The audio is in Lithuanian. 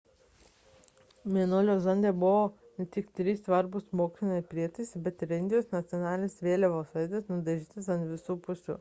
mėnulio zonde buvo ne tik trys svarbūs moksliniai prietaisai bet ir indijos nacionalinės vėliavos atvaizdas nudažytas ant visų pusių